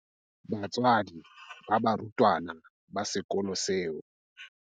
Batswadi ba barutwana ba sekolo seo.